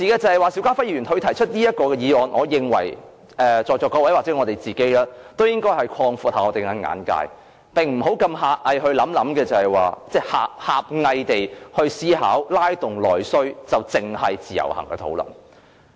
不過，邵家輝議員提出這項議案，我認為在座各位也應該擴闊一下自己的眼界，不要狹隘地思考，認為拉動內需只是關乎自由行的討論。